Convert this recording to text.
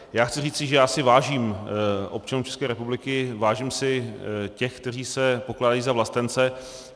Já chci říci, že já si vážím občanů České republiky, vážím si těch, kteří se pokládají za vlastence.